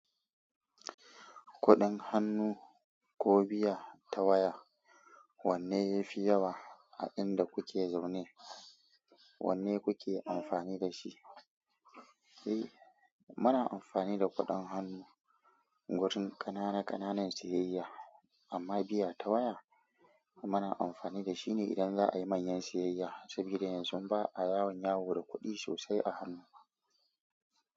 Kuɗin hannu ko biya ta waya, wanne yafi yawa a inda kuke zaune? Wanne kuke amfani dashi? Eh, muna amfani da kuɗin hannu wurin kanana-kananan siyayya, amma biya ta waya muna amfani da shi ne idan za a yi manyan siyayya. Saboda yanzu ba a yawan yawo da kuɗi sosai a hannu.